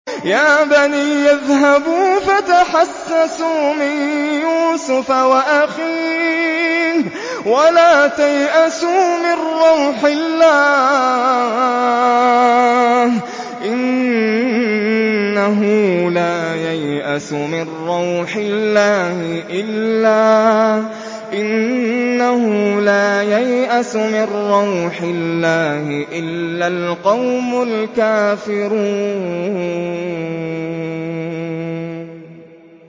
يَا بَنِيَّ اذْهَبُوا فَتَحَسَّسُوا مِن يُوسُفَ وَأَخِيهِ وَلَا تَيْأَسُوا مِن رَّوْحِ اللَّهِ ۖ إِنَّهُ لَا يَيْأَسُ مِن رَّوْحِ اللَّهِ إِلَّا الْقَوْمُ الْكَافِرُونَ